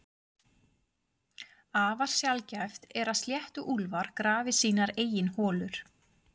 Afar sjaldgæft er að sléttuúlfar grafi sínar eigin holur.